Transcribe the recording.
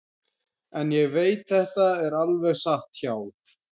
En ég veit þetta er alveg satt hjá